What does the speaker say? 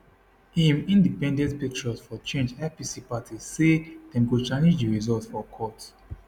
im independent patriots for change ipc party say dem go challenge di results for court